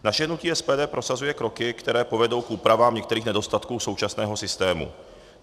Naše hnutí SPD prosazuje kroky, které povedou k úpravám některých nedostatků současného systému.